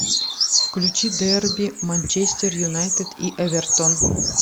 включи дерби манчестер юнайтед и эвертон